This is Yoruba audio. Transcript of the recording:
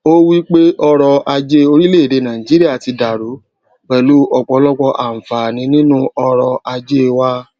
ó wípé ọrò ajé orílèèdè nàìjíríà ti dàrú pèlú òpòlọpò ànfààní nínú ọrò ajé wa